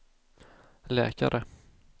läkare